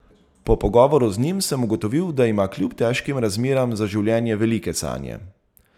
Po pogovoru z njim sem ugotovil, da ima kljub težkim razmeram za življenje velike sanje.